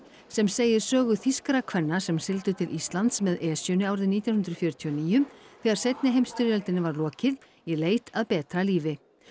sem segir sögu þýskra kvenna sem sigldu til Íslands með Esjunni árið nítján hundruð fjörutíu og níu þegar seinni heimsstyrjöldinni var lokið í leit að betra lífi